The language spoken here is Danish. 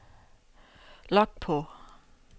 log på